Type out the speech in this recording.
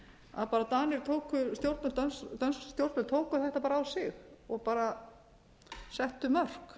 komið í matnum og svo framvegis dönsk stjórnvöld tóku þetta á sig og settu mörk